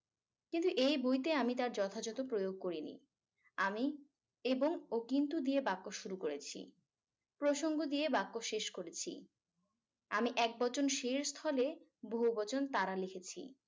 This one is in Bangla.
কিন্তু এই বইতে আমি তা যথাযথ প্রয়োগ করিনি আমি এবং ও কিন্তু দিয়ে বাক্য শুরু করেছি প্রসঙ্গ দিয়ে বাক্য শেষ করেছি আমি একবচন সে এর স্থলে বহুবচন তারা লিখেছি